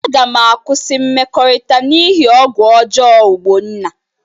Aga m akwụsị mmekọrịta n'ihi ọgwụ ọjọọ Ogbonna.